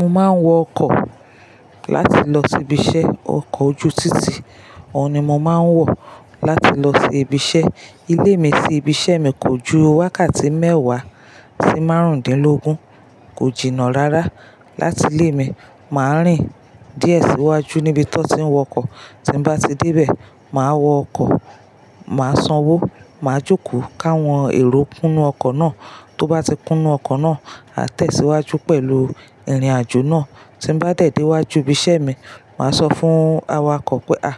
Mo máa ń wọ ọkọ̀ láti lọ sí ibi iṣẹ́. Ọkọ̀ ojú títì, òun ni mo máa ń wọ̀ láti lọ sí ibi iṣẹ́. Ilé mi sì ibi iṣẹ́ mi kò ju wákàtí mẹ́wàá sí márùndínlógún. Kò jìnnà rárá. Láti ilé mi, màá rìn díẹ̀ sí iwájú níbi tí wọ́n ti ń wọ ọkọ̀. Tí n bá ti dé bẹ̀, màá wọ ọkọ̀, màá sanwó, màá jókòó káwọn èrò kúnnú ọkọ̀ náà. Tó bá ti kúnnú ọkọ̀ náà, a tẹ̀síwájú pẹ̀lú ìrìnàjò náà. Tí n bá dẹ̀ dé wájú ibi iṣẹ́ mi, màá sọ fún awakọ̀ pé "à,